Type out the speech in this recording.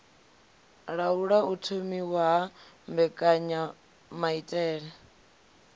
laula u thomiwa ha mbekanyamaitele